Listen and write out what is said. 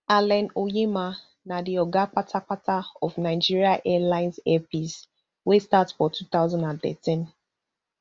allen onyema na di oga kpatapata of nigeria airlines air peace wey start for two thousand and thirteen